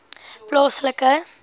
plaaslike